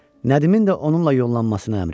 Nədimin də onunla yollanmasına əmr etdi.